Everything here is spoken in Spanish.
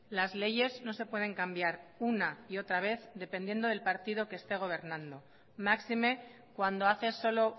las leyes no se pueden cambiar una y otra vez dependiendo del partido que esté gobernando máxime cuando hace solo